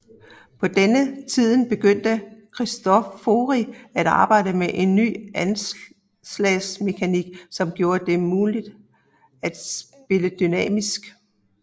På denne tiden begyndte Cristofori at arbejde med en ny anslagsmekanik som gjorde det mulig at spille dynamisk